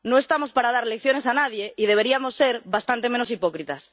No estamos para dar lecciones a nadie y deberíamos ser bastante menos hipócritas.